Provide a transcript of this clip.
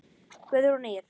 Guðrún Ýr.